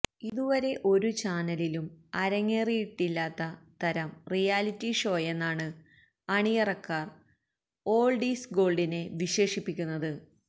ഇതുവരെ ഒരു ചാനലിലും അരങ്ങേറിയിട്ടില്ലാത്ത തരം റിയാലിറ്റിഷോയെന്നാണ് അണിയറക്കാര് ഓള്ഡ് ഈസ് ഗോള്ഡിനെ വിശേഷിപ്പിക്കുന്നത്